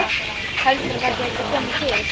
Heldurðu að það gæti komið til?